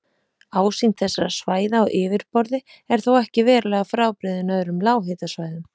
Ásýnd þessara svæða á yfirborði er þó ekki verulega frábrugðin öðrum lághitasvæðum.